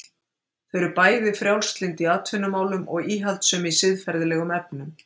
Þau eru bæði frjálslynd í atvinnumálum og íhaldssöm í siðferðilegum efnum.